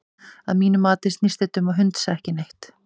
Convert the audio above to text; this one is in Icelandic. Að mínu mati snýst þetta um hundsa ekki neitt.